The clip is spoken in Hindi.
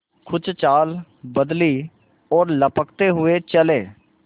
कुछ चाल बदली और लपकते हुए चले